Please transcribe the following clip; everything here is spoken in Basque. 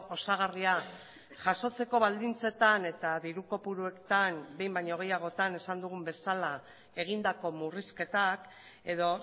osagarria jasotzeko baldintzetan eta diru kopuruetan behin baino gehiagotan esan dugun bezala egindako murrizketak edo